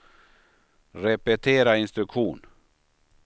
repetera instruktion